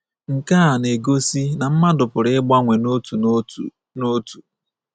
Nke a na-egosi na mmadụ pụrụ ịgbanwe n’otu n’otu. n’otu.